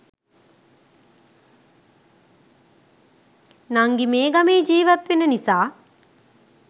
නංගි මේ ගමේ ජීවත් වෙන නිසා